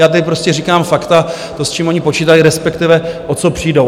Já tady prostě říkám fakta, to, s čím oni počítají, respektive o co přijdou.